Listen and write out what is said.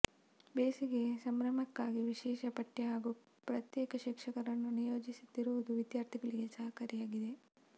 ಬೇಸಿಗೆ ಸಂಭ್ರಮಕ್ಕಾಗಿ ವಿಶೇಷ ಪಠ್ಯ ಹಾಗೂ ಪ್ರತ್ಯೇಕ ಶಿಕ್ಷಕರನ್ನು ನಿಯೋಜಿಸಿರುವುದು ವಿದ್ಯಾರ್ಥಿಗಳಿಗೆ ಸಹಕಾರಿಯಾಗಿದೆ